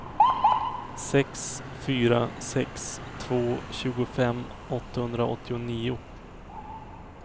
sex fyra sex två tjugofem åttahundraåttionio